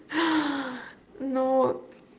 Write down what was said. но